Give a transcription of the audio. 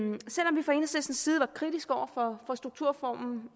selv side var kritisk over for strukturreformen